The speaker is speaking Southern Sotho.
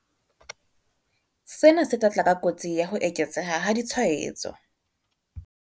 Sena se tla tla ka kotsi ya ho eketseha ha ditshwaetso.